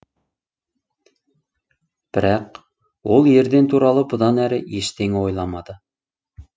бірақ ол ерден туралы бұдан әрі ештеңе ойламады